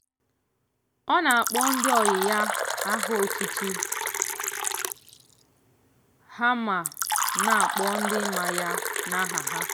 ọ na-akpọ ndị ọyị ya aha otutu ha ma na-akpọ ndị ma ya n'aha ha.